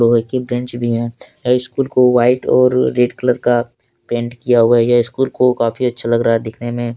बगल के बेंच भी हैं हाई स्कूल को व्हाइट और रेड कलर का पेंट किया हुआ है ये स्कूल को काफी अच्छा लग रहा है दिखने में।